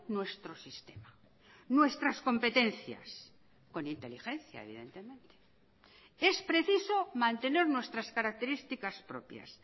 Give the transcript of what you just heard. nuestro sistema nuestras competencias con inteligencia evidentemente es preciso mantener nuestras características propias